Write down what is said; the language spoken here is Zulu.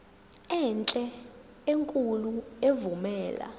enhle enkulu evumela